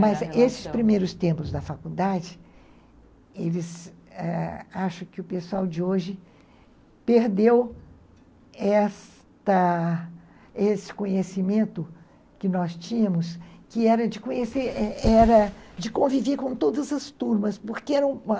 Mas esses primeiros tempos da faculdade, eles, acho que o pessoal de hoje perdeu esta esse conhecimento que nós tínhamos, que era de conhecer era de conviver com todas as turmas, porque era uma...